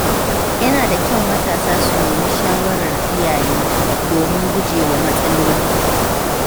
Yana da kyau matasa su nemi shawarar iyaye domin gujewa matsaloli.